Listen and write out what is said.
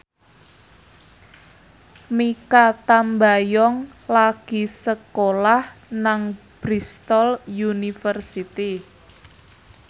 Mikha Tambayong lagi sekolah nang Bristol university